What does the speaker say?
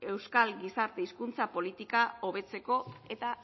euskal gizarte hizkuntza politika hobetzeko eta